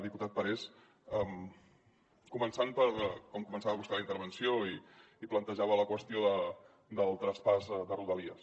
diputat parés començant per com començava vostè la intervenció i plantejava la qüestió del traspàs de rodalies